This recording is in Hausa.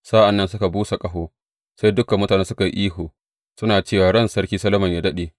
Sa’an nan suka busa ƙaho, sai dukan mutane suka yi ihu, suna cewa Ran Sarki Solomon yă daɗe!